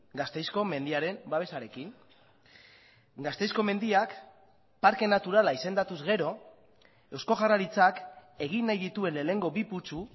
gasteizko mendiaren babesarekin gasteizko mendiak parke naturala izendatuz gero eusko jaurlaritzak egin nahi dituen lehenengo bi putzu